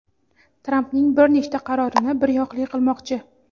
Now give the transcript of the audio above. Trampning bir nechta qarorini "bir yoqli" qilmoqchi.